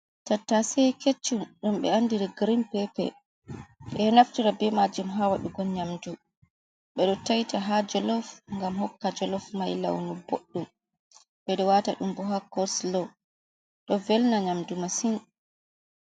Tattase keccum ɗum ɓe andiri grin pepe, ɓe naftira be majum ha waɗugo nyamdu ɓe ɗo taita ha jolof ngam hokka jolof mai launu boɗɗum ɓeɗo wata ɗum ɓo ha coslo do velna nyamdu masin.